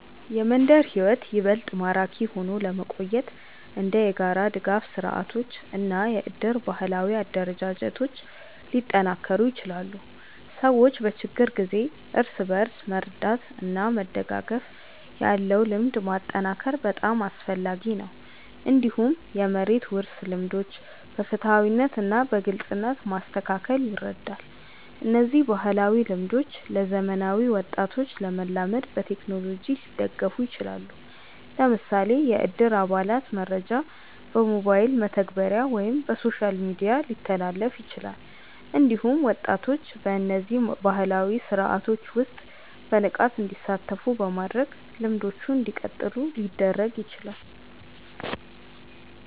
የመንደር ሕይወት ይበልጥ ማራኪ ሆኖ ለመቆየት እንደ የጋራ ድጋፍ ስርዓቶች እና የእድር ባህላዊ አደረጃጀቶች ሊጠናከሩ ይችላሉ። ሰዎች በችግር ጊዜ እርስ በርስ መርዳት እና መደጋገፍ ያለው ልምድ ማጠናከር በጣም አስፈላጊ ነው። እንዲሁም የመሬት ውርስ ልምዶችን በፍትሃዊነት እና በግልጽነት ማስተካከል ይረዳል። እነዚህ ባህላዊ ልምዶች ለዘመናዊ ወጣቶች ለመላመድ በቴክኖሎጂ ሊደገፉ ይችላሉ። ለምሳሌ የእድር አባላት መረጃ በሞባይል መተግበሪያ ወይም በሶሻል ሚዲያ ሊተላለፍ ይችላል። እንዲሁም ወጣቶች በእነዚህ ባህላዊ ስርዓቶች ውስጥ በንቃት እንዲሳተፉ በማድረግ ልምዶቹ እንዲቀጥሉ ሊደረግ ይችላል።